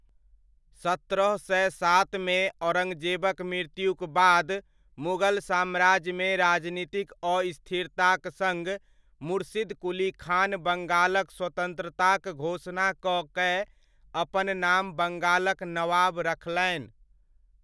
सत्रह सय सात मे औरङ्गजेबक मृत्युक बाद मुगल साम्राज्यमे राजनीतिक अस्थिरताक सङ्ग, मुर्शिद कुली खान बङ्गालक स्वतन्त्रताक घोषणा कऽ कए अपन नाम बङ्गालक नवाब रखलनि।